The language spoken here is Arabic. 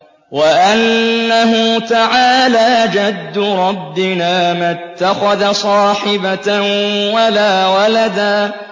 وَأَنَّهُ تَعَالَىٰ جَدُّ رَبِّنَا مَا اتَّخَذَ صَاحِبَةً وَلَا وَلَدًا